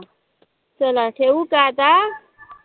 चला ठेऊ का आता?